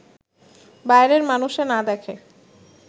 বাইরের মানষে না দেখে